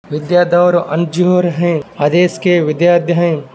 विद्याधौर अंजुर है अदेस के विद्यार्त हैं।